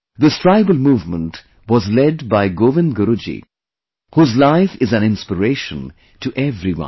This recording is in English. This tribal movement was led by Govind Guru ji, whose life is an inspiration to everyone